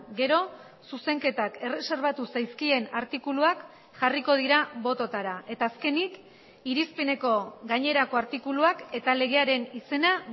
gero zuzenketak erreserbatu zaizkien artikuluak jarriko dira bototara eta azkenik irizpeneko gainerako artikuluak eta legearen izena